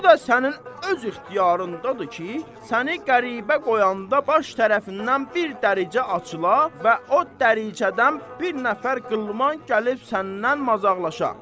Bu da sənin öz ixtiyarındadır ki, səni qəribə qoyanda baş tərəfindən bir dəricə açıla və o dəricədən bir nəfər qılman gəlib səndən mazaqlaşa.